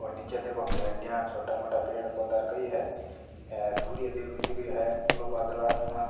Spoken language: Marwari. और निचे देखो खेड़रा और छोटा मोटा पेड़ पौधा और कई है सूर्य देव भी दिख रो है खूलो बादल आसमान --